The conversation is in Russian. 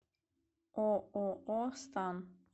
ооо стан